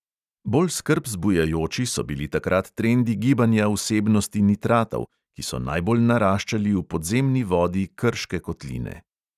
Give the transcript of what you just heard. Bolj skrb zbujajoči so bili takrat trendi gibanja vsebnosti nitratov, ki so najbolj naraščali v podzemni vodi krške kotline.